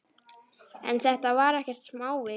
En þetta var ekkert smávik.